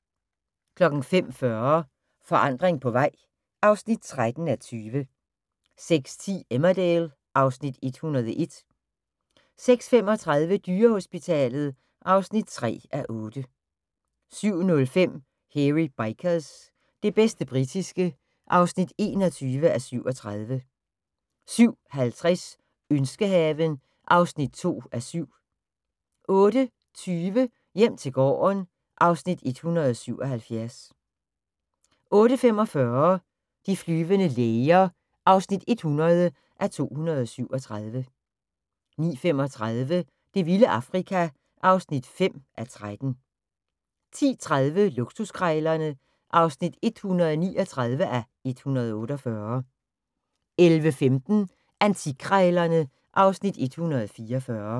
05:40: Forandring på vej (13:20) 06:10: Emmerdale (Afs. 101) 06:35: Dyrehospitalet (3:8) 07:05: Hairy Bikers – det bedste britiske (21:37) 07:50: Ønskehaven (2:7) 08:20: Hjem til gården (Afs. 177) 08:45: De flyvende læger (100:237) 09:35: Det vilde Afrika (5:13) 10:30: Luksuskrejlerne (139:148) 11:15: Antikkrejlerne (Afs. 144)